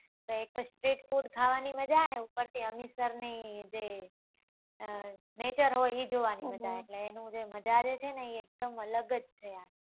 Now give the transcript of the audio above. તો એક તો street food ખાવા ની મજા ને ઉપર થી હમીસર ની જે neture હોય એ જોવા ની મજા એટલે એનું જે મજા છે એ એક દમ અલગ જ છે